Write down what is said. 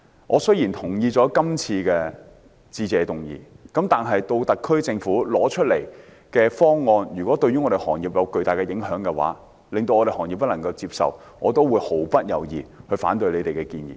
我雖然同意今年施政報告的致謝議案，但如果特區政府提出的方案會對行業有巨大影響，令行業不能接受，我也會毫不猶豫地反對政府的建議。